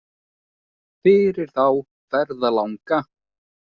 Fyrir þá ferðalanga.